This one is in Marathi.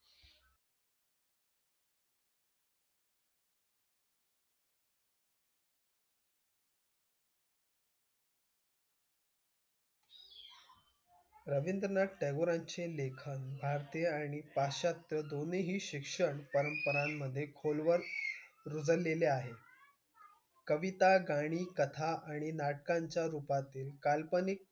रवींद्रनाथ टागोरांचे लेखन भारतीय आणि पाश्चात्य दोन्हीही शिक्षण परंपरांमधे खोलवर रुजलेले आहे. कविता, गाणी, कथा आणि नाटकांच्या रूपातील काल्पनिक,